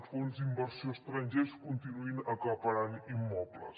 fons d’inversió estrangers continuïn acaparant immobles